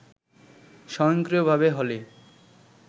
স্বয়ংক্রিয়ভাবে হলে